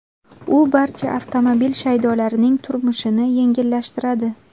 U barcha avtomobil shaydolarining turmushini yengillashtiradi.